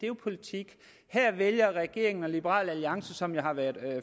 jo politik her vælger regeringen og liberal alliance som jo har været